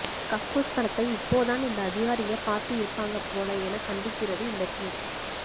கக்கூஸ் படத்தை இப்போ தான் இந்த அதிகாரிங்க பாத்து இருப்பாங்க போல என கண்டிக்கிறது இந்த டிவீட்